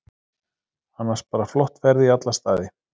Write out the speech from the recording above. Annars bara flott ferð í alla staði.